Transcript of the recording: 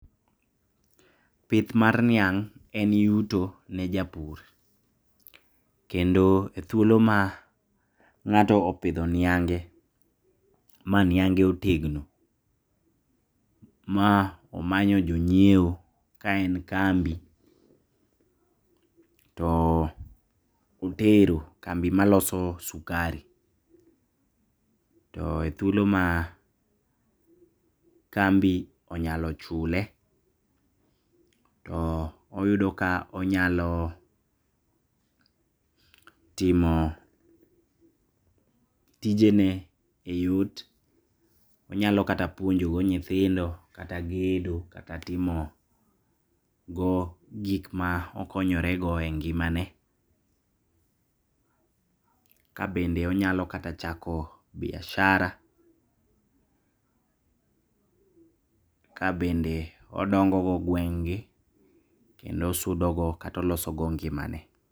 Pith mar niang' en yuto ne japur. Kendo ethuolo ma ng'ato opidho niange maniange otegno ma omanyo jonyiewo kaen kambi, too otero kambi maloso sukari too ethuolo maa kambi onyalo chule too oyudo ka onyaloo timo tijene eyot. Onyalo kata puonjogo nyithindo kata gedo kata timogogik ma okonyorego engimane. Kabende onyalo kata chako biashara. Kabende odongo go gweng'gi kendo osudogo kata olosogo ngimane.